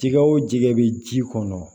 Jɛgɛ o jɛgɛ bɛ ji kɔnɔ